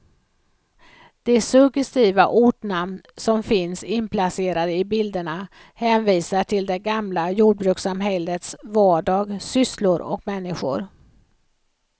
De suggestiva ortnamn som finns inplacerade i bilderna hänvisar till det gamla jordbrukssamhällets vardag, sysslor och människor.